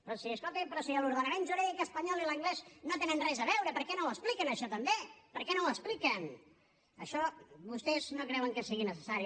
però si escolti’m l’ordenament jurídic espanyol i l’anglès no tenen res a veure per què no ho expliquen això també per què no ho expliquen això vostès no creuen que sigui necessari